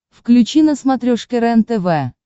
включи на смотрешке рентв